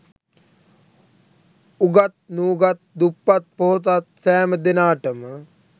උගත් නූගත්, දුප්පත් පොහොසත් සෑම දෙනාට ම